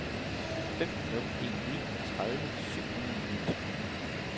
fem nul en ni tredive syv hundrede og niogtyve